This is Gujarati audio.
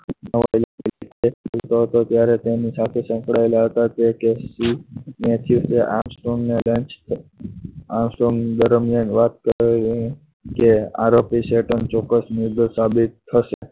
ભેગા હતા ત્યારે તેની સાથે સંકળાયેલા હતા આમસ્ટ્રોંગ દરમિયાન વાત કરેલી કે આરોપી ચેતન ચોક્કસ ગુનેગાર સાબિત થશે